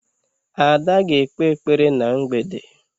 Ada ga-ekpe ekpere na mgbede.